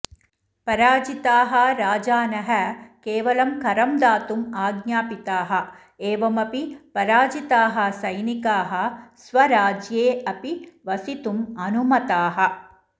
पराजिताः राजानः केवलं करम् दातुम् आज्ञापिताः एवमपि पराजिताः सैनिकाः स्वराज्ये अपि वसितुम् अनुमताः